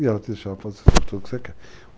E ela deixa fazer tudo o que você quer.